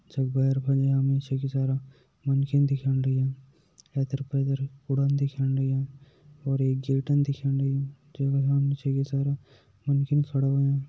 जख भेर फण हमें निचे के सारा मनखी दिख्येण लाग्यां एैथेर-पैथर कुडान दिख्याण लाग्यां और एक दिख्येण लगीं सारा मनकी खड़ा हुयां।